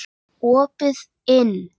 Opið inn!